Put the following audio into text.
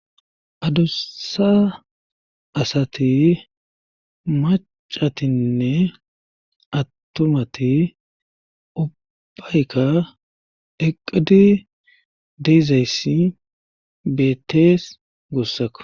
Adussa asati macatinne attumati ubbayka eqidi deezayssi beettees gossakko.